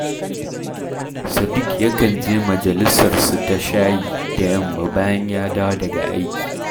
Sadik yakan je majalisarsu ta shayi da yamma bayan ya dawo daga aiki